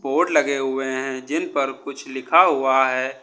Board लगे हुए हैं जिन पर कुछ लिखा हुआ है।